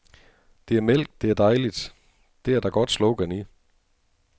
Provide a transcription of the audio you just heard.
Det er mælk, det er dejligt, det er der godt slogan i.